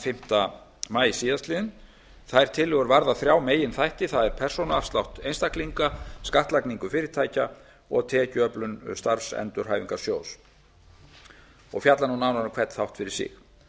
fimmta maí síðastliðinn þær tillögur varða þrjá meginþætti það er persónuafslátt einstaklinga skattlagningu fyrirtækja og tekjuöflun starfsendurhæfingarsjóðs mun ég nú fjalla nánar um hvern þátt fyrir sig